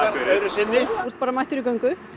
þú ert bara mættur í göngu